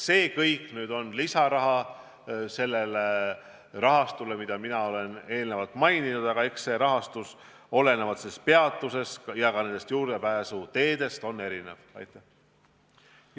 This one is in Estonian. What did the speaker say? See kõik nõuab lisaraha, mis lisanduks sellele rahale, mida mina olen eelnevalt maininud, aga eks see rahastus ole peatustest ja juurdepääsuteedest olenevalt erinev.